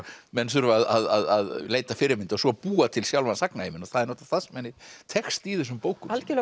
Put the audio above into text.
menn þurfa að leita fyrirmynda og svo búa til sjálfan sagnaheiminn og það er það sem henni tekst í þessum bókum algjörlega